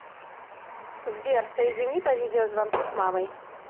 сбер соедини по видеозвонку с мамой